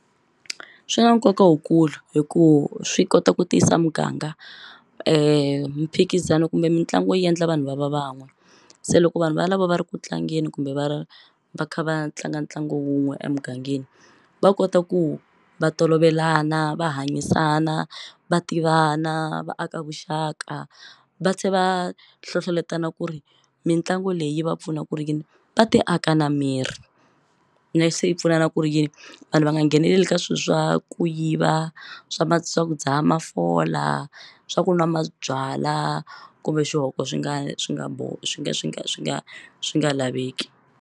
Swi na nkoka wukulu hi ku swi kota ku tiyisa muganga mphikizano kumbe mitlangu yi yendla vanhu va va van'we se loko vanhu valavo va ri ku tlangeni kumbe va va kha va tlanga ntlangu wun'we emugangeni va kota ku va tolovelana va hanyisana va tivana va aka vuxaka va tlhe va hlohloletana ku ri mitlangu leyi yi va pfuna ku ri yini va ti aka na miri ne swi pfuna na ku ri yini vanhu va nga ngheneleli ka swilo swa ku yiva swa swa ku dzaha mafola swa ku nwa mabyala kumbe xihoko swi nga swi nga swi nge swi nga swi nga swi nga laveki.